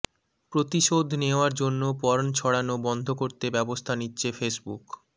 প্রতিশোধ নেওয়ার জন্য পর্ন ছড়ানো বন্ধ করতে ব্যবস্থা নিচ্ছে ফেসবুক